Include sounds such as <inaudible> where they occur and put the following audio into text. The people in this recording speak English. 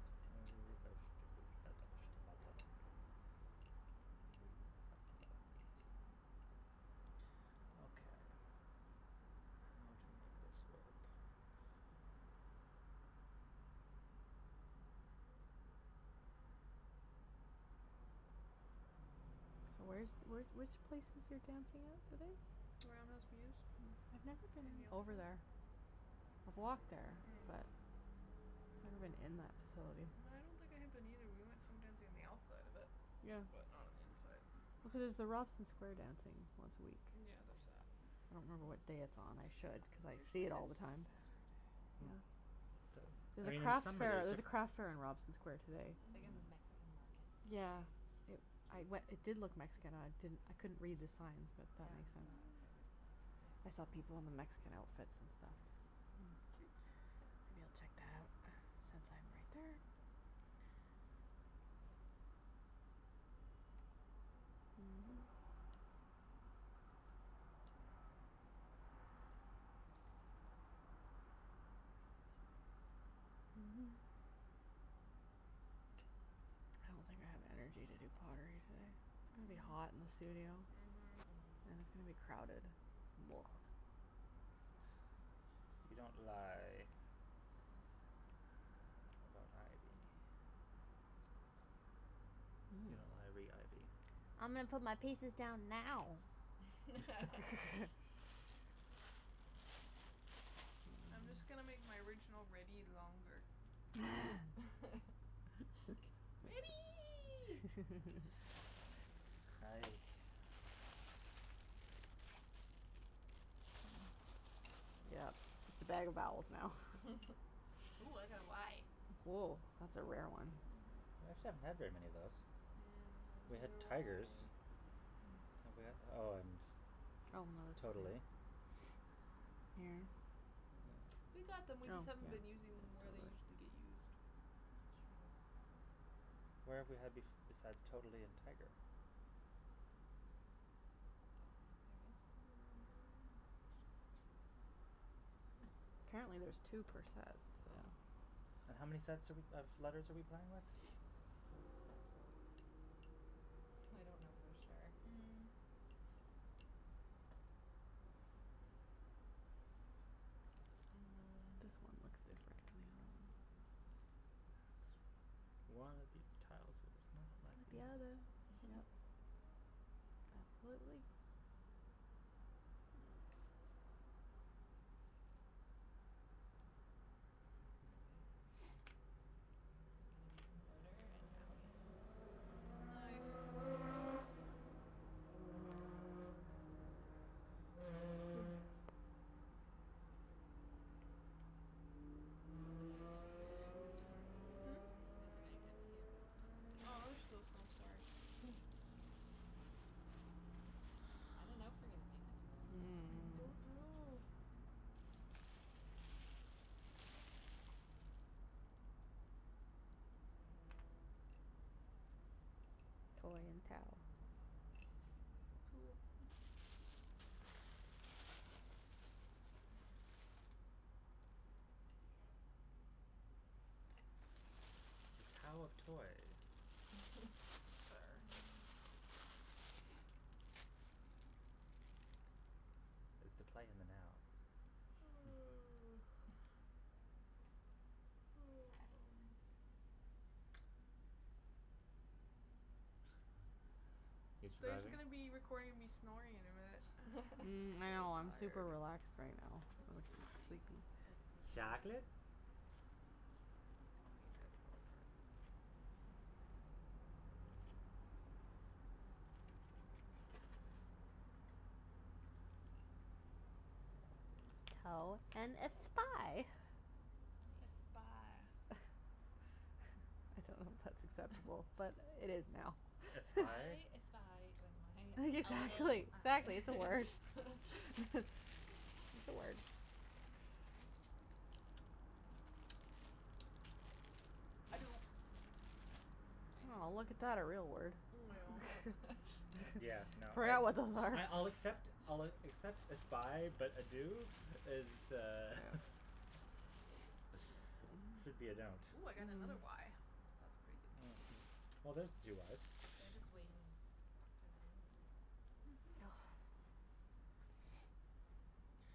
<inaudible> Okay. How to make this work. Where's where's where's the places Mm. you're dancing at today? Around <inaudible> In Over Yaletown. there. I've walked there. But Mm. I've never been in that facility. I don't think I have been, either. We went swing dancing on the outside of it, Yeah. but not on the inside. Here's the Robson square dancing once a week. Yeah, there's that. I don't know what day it's on, I should, cuz It's I see usually it a S- all the time. Saturday. Hmm. Yeah. I There's a mean, in crafts some fair, way it's there's a crafts fair differen- in Robson square yeah. today. It's like a Mhm. Mexican market Yeah. today. Yeah. I Cute. we- it did look Mexican I didn't I couldn't read the signs, but it Yeah, makes no, sense. it's Mhm. like a I saw people Mexican in a Mexican market. outfits and stuff. Cute. Maybe I'll check that out since I'm right there. <noise> <noise> I don't think I have energy to do pottery today. It'll be Mm. hot and <inaudible> Mhm. And <inaudible> crowded <noise> You don't lie about ivy. You know ivy, ivy. I'm gonna put my pieces down now. <laughs> <laughs> <laughs> I'm just gonna make my original ready longer. <laughs> <laughs> Ready! <laughs> Hi. Yeah, it's a better vowels now. <laughs> Ooh, I got a y. Oh, that's a rare one. I actually haven't had very many of those. Mm. I We had wonder why. tigers. Have we had Oh, and totally. Yeah. Yeah. We got them, we just Oh, haven't been using them yeah where they usually get <inaudible> used. It's true. Where have we had bef- besides totally and tiger? Don't think there is one. <noise> Hmm. Apparently there's two per set, so. Yeah. And how many sets are we of letters are we playing with? Several. I don't know for sure. Mhm. Mm. This kinda looks differently. Yes. One of these tiles is not like The the other. other. Yeah. <laughs> Completely. Okay. I'm gonna make odour and owee. Nice. Is the bag empty or is it Hmm? still Is the bag empty or are there still Oh, there's letters? still some. Sorry. Hmm. I don't know if we're gonna make it through all of these, man. Don't know. Mm. Toe and tao. Cool. <noise> The tao of toy. Sure. <laughs> Is the play in the now. <laughs> <noise> <laughs> You They're just surviving? gonna be recording me snoring in a minute. Mm. I So know. I'm <laughs> super tired. relaxed right now. So sleepy. <inaudible> It's like Chocolate? <inaudible> Tao and a spy. A Nice. spy. <laughs> I don't know if that's exact <inaudible> but it is <laughs> now. Espie? I espy when <laughs> my a little Exactly, exactly, it's a eye. word. <laughs> It's <laughs> a word. <noise> I do. Oh, look at Very nice. that. A real word. I know. <laughs> Yeah, <laughs> no, I I I'll accept <inaudible> I'll accept espie, but ado is uh should be a don't. Ooh, I got another y. That's crazy. Oh, well, there's the two y's. They're just waiting to put the end in. Mhm. Oh.